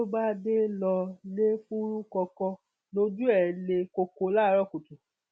ló bá dé lọ lè fúrúkọkọ lójú ẹ le koko láàárọ kùtù